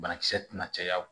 Banakisɛ tɛna caya